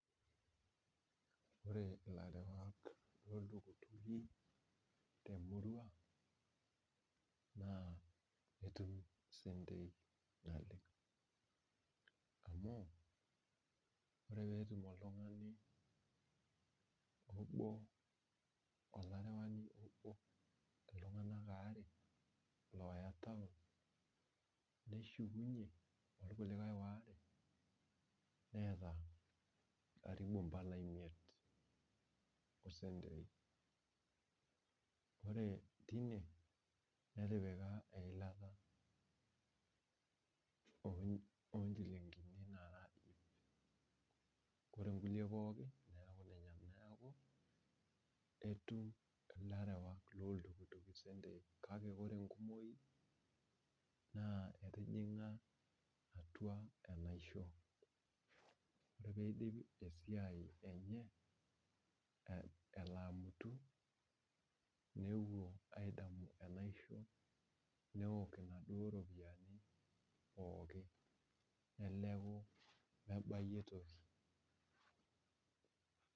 Ore ilarewak looltukutuki te murwa naa etum isentei naleng'. Amu ore peetum oltung'ani obo olarewani obo iltung'anak aare looya taon neshukunye orkuliae aare neeta karibu mbala imiet o sentei. Ore tine netipika eilata oo nchilinkini naara iip. Ore inkulie pookin neeku inenyenak. Neeku etum ilarewak looltukutuki isentei kake ore enkumoi naa etijing'a atwa enaisho, ore piidip esiai enye elo amutu nepwo aidamu enaisho newok inaduo ropiyiani pooki neleku mebayie toki